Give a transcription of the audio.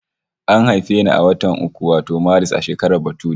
An haife ni a watan uku wato Maris, a shekarar bature